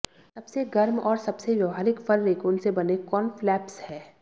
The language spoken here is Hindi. सबसे गर्म और सबसे व्यावहारिक फर रेकून से बने कानफ्लैप्स हैं